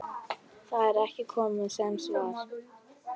Það er kona sem svarar.